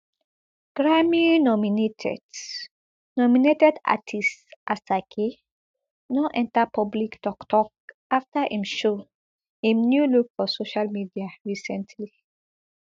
grammy nominated nominated artiste asake don enta public toktok afta im show im new look for social media recently